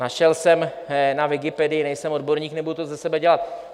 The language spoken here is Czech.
Našel jsem na Wikipedii, nejsem odborník, nebudu to ze sebe dělat.